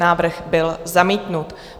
Návrh byl zamítnut.